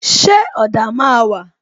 Ṣé ọ̀dà máa wà?